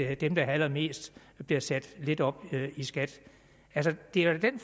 at de der har allermest bliver sat lidt op i skat det er den